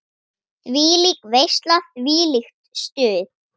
Þvílík veisla, þvílíkt stuð.